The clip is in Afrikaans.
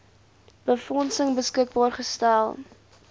befondsing beskikbaar gestel